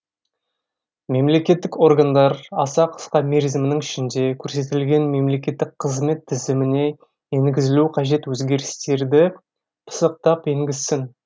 мемлекеттік органдар аса қысқа мерзімінің ішінде көрсетілген мемекеттік қызмет тізіміне енгізілуі қажет өзгерістерді пысықтап енгізсін